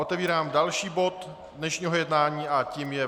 Otevírám další bod dnešního jednání a tím je